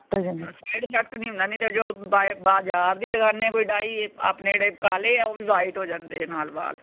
side effect ਨੀ ਹੁੰਦਾ। ਨੀ ਤੇ ਜੋ ਬਾਏ ਬਾਜ਼ਾਰ ਦੀ ਲਗਾਂਦੇ ਆ ਕੋਈ ਡਾਈ ਆਪਣੇ ਜਿਹੜੇ ਕਾਲੇ ਆ ਉਹ ਵੀ white ਹੋ ਜਾਂਦੇ ਨਾਲ ਵਾਲ।